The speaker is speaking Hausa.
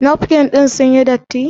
Nafkin ɗin sun yi datti?